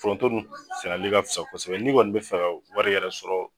Foronto dun sɛnɛli ka fusa kosɛbɛ n'i kɔni bi fɛ ka wari yɛrɛ sɔrɔ